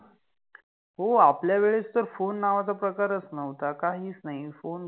हो आपल्यावेळेस तर फोन नावाचा प्रकारच नवता, काहिच नाहि